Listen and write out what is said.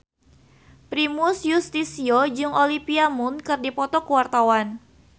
Primus Yustisio jeung Olivia Munn keur dipoto ku wartawan